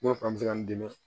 N ko fa bɛ ka n dɛmɛ